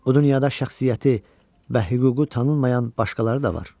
Bu dünyada şəxsiyyəti və hüququ tanınmayan başqaları da var.